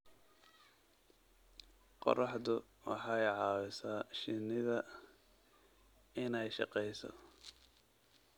Qorraxdu waxay caawisaa shinida inay shaqeyso.